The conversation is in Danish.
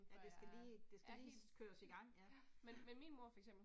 Ja det skal lige, det skal lige køres i gang, ja, ja